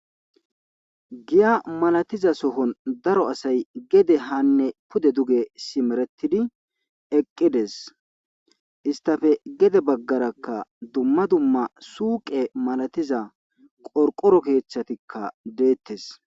giya malatiza sohon daro asay gede hanne pude duge simeretidi eqqides istafe gede baggarakka dumma dumma suuqe malatiza qorqoro keeththatikka deettes